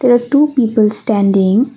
There are two people standing.